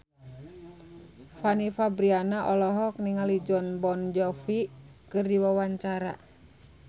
Fanny Fabriana olohok ningali Jon Bon Jovi keur diwawancara